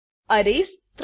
single dimensional અરે